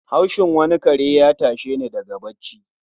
Haushin wani kare ya tashe ni daga bacci.